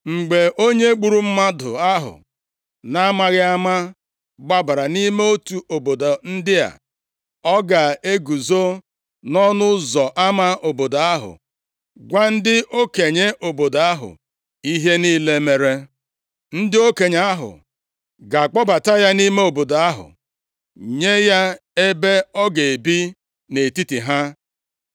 Mgbe onye gburu mmadụ ahụ na-amaghị ama gbabara nʼime otu obodo ndị a, ọ ga-eguzo nʼọnụ ụzọ ama obodo ahụ gwa ndị okenye obodo ahụ ihe niile mere. Ndị okenye ahụ ga-akpọbata ya nʼime obodo ahụ, nye ya ebe ọ ga-ebi nʼetiti ha.